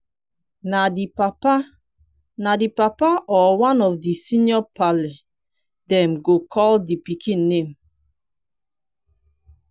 na di papa na di papa or one of di senior parle dem go call di pikin name